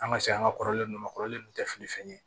An ka se an ka kɔrɔlen ninnu ma kɔrɔlen ninnu tɛ fili fɛn ye